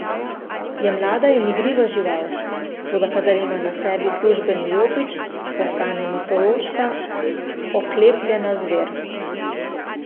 Je mlada in igriva žival, toda kadar ima na sebi službeni jopič, postane mitološka oklepljena zver.